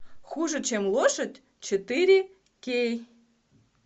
хуже чем лошадь четыре кей